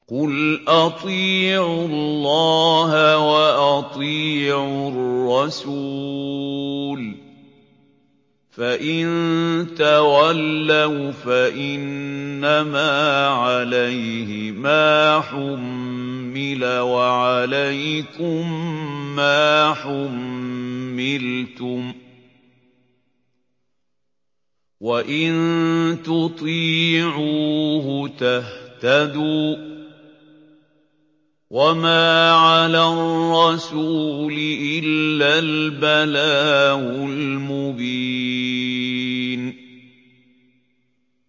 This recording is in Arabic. قُلْ أَطِيعُوا اللَّهَ وَأَطِيعُوا الرَّسُولَ ۖ فَإِن تَوَلَّوْا فَإِنَّمَا عَلَيْهِ مَا حُمِّلَ وَعَلَيْكُم مَّا حُمِّلْتُمْ ۖ وَإِن تُطِيعُوهُ تَهْتَدُوا ۚ وَمَا عَلَى الرَّسُولِ إِلَّا الْبَلَاغُ الْمُبِينُ